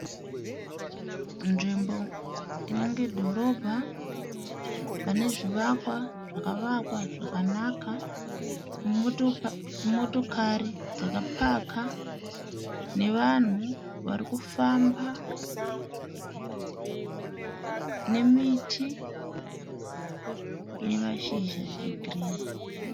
Nzvimbo inenge dhorobha pane zvivakwa zvakavakwa zvakanaka. Motokari dzakapaka nevanhu vari kufamba, nemiti ine mashizha egirinhi.